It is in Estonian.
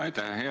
Aitäh!